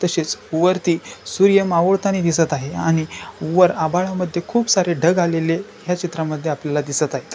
तसेच वरती सुर्यमावळता नी दिसत आहे आणि वर आभाळा मध्ये खुप सारे ढग आलेले ह्या चित्रा मध्ये आपल्याला दिसत आहेत.